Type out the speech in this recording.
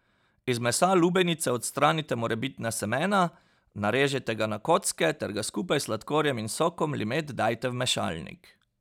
Iz mesa lubenice odstranite morebitna semena, narežite ga na kocke ter ga skupaj s sladkorjem in sokom limet dajte v mešalnik.